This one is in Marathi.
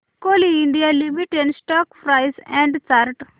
Coal India Limited stock price and chart